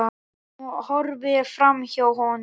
Hún horfir framhjá honum.